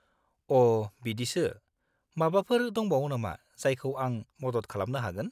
अ', बिदिसो। माबाफोर दंबावो नामा जायखौ आं मदद खालामनो हागोन?